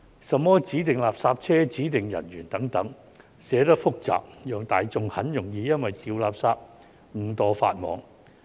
甚麼指定垃圾車、指定人員等，寫得複雜，讓大眾很容易因為掉垃圾誤墮法網。